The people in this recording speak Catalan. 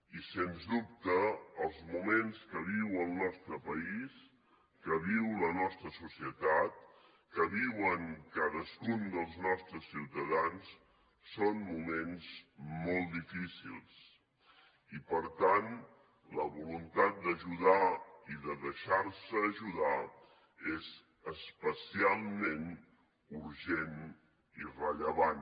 i sens dubte els moments que viu el nostre país que viu la nostra societat que viuen cadascun dels nostres ciutadans són moments molt difícils i per tant la voluntat d’ajudar i de deixar se ajudar és especialment urgent i rellevant